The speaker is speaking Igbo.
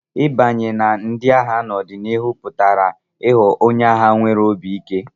Ịbanye na ndị agha n'ọdịnihu pụtara ịghọ onye agha nwere obi ike.